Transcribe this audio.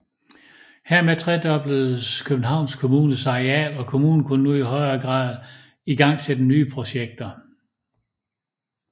Hermed tredobledes Københavns Kommunes areal og kommunen kunne nu i højere grad igangsætte nye projekter